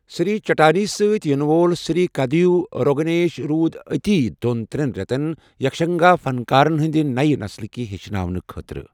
سری Chittani with یِنہٕ وول سری کدیورو گنیش روٗد أتۍ دوٚن ترٚٮ۪ن رٮ۪تَن یکشگانا فنکارَن ہِنٛدِ نَیہِ نسلہِ کہ ہیٚچھناونہٕ خٲطرٕ۔